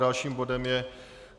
Dalším bodem je